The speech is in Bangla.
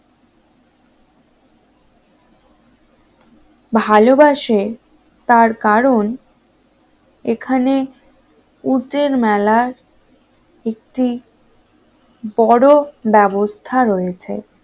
ভালোবাসে তার কারণ এখানে উটের মেলার একটি বড় ব্যবস্থা রয়েছে